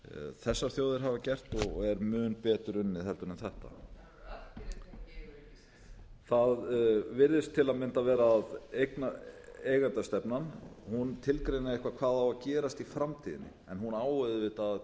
þessar þjóðir hafa gert og er mun betur unnið en þetta það virðist til að mynda vera að eigendastefnan tilgreini eitthvað hvað á að gerast í framtíðinni en hún á auðvitað að